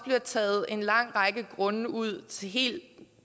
taget en lang række grunde ud til helt